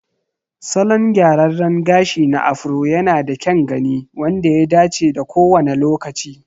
Salon gyraran gashi na Afro yanada kyan gani wanda ya dace da kowane lokaci.